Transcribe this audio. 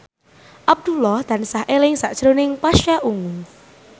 Abdullah tansah eling sakjroning Pasha Ungu